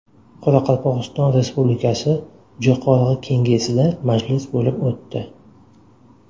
Qoraqalpog‘iston Respublikasi Jo‘qorg‘i Kengesida majlis bo‘lib o‘tdi.